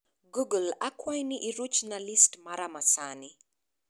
Google akwayi ni iruchna listi mara ma sani